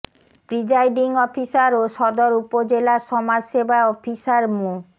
presiding officer ও সদর উপজেলা সমাজ সেবা অফিসার মো